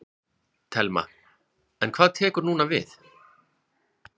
Telma: En hvað tekur núna við?